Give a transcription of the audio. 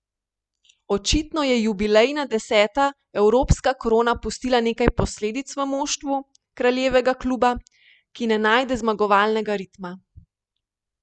Očitno je jubilejna deseta evropska krona pustila nekaj posledic v moštvu kraljevega kluba, ki ne najde zmagovalnega ritma.